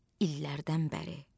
İllərdən bəri.